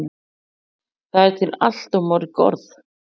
Það eru til allt of mörg orð.